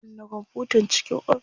Kunna kwamfutan ciki ofis.